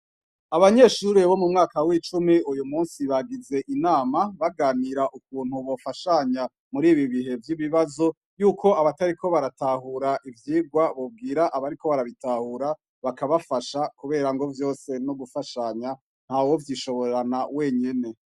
Abanyeshure bo mu mwaka w'icumi uyu musi bagize inama baganira ukuntu bofashanya muri ibi bihe vy'ibibazo yuko abatariko baratahura ivyigwa bobwira abariko barabitahura bakabafasha kubera ngo vyose n'ugufashanya ntawovyishoborana wenyene.